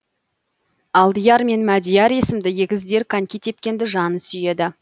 алдияр мен мәдияр есімді егіздер коньки тепкенді жаны сүйеді